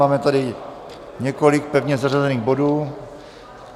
Máme tady několik pevně zařazených bodů.